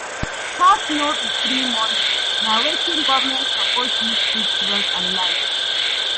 Tax no be free money, na wetin government suppose use fix road and light.